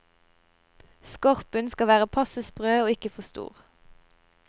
Skorpen skal være passe sprø, og ikke for stor.